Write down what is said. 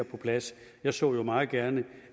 på plads jeg så jo meget gerne